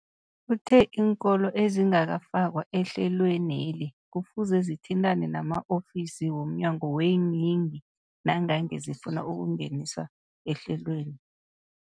Uthe iinkolo ezingakafakwa ehlelweneli kufuze zithintane nama-ofisi womnyango weeyingi nangange zifuna ukungeniswa ehlelweni.